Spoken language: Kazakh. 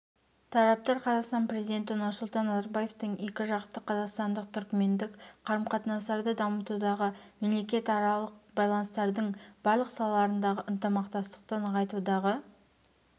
тараптар қазақстан президенті нұрсұлтан назарбаевтың екіжақты қазақстандық-түркімендік қарым-қатынастарды дамытудағы мемлекетаралық байланыстардың барлық салаларындағы ынтымақтастықты нығайтудағы